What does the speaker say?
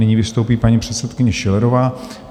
Nyní vystoupí paní předsedkyně Schillerová.